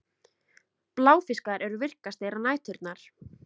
Bláfiskar eru virkastir á næturnar.